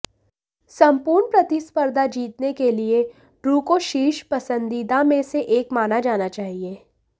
संपूर्ण प्रतिस्पर्धा जीतने के लिए ड्रू को शीर्ष पसंदीदा में से एक माना जाना चाहिए